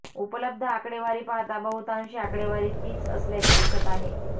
उपलब्ध आकडेवारी पाहता बहुतांशी आकडेवारी तीच असल्याचे दिसत आहे